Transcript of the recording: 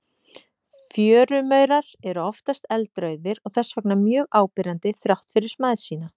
Fjörumaurar eru oftast eldrauðir og þess vegna mjög áberandi þrátt fyrir smæð sína.